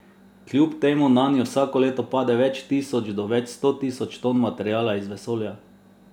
Kljub temu nanjo vsako leto pade več tisoč do več sto tisoč ton materiala iz vesolja.